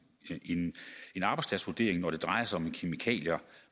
arbejdspladsvurdering når det drejer sig om kemikalier